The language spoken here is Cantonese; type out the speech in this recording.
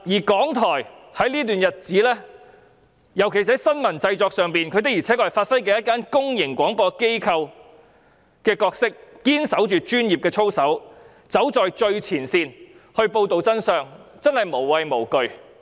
港台在這段日子裏，尤其是在新聞製作方面，確實能發揮公營廣播機構的角色，堅守專業操守，走在最前線報道真相，真的無畏無懼。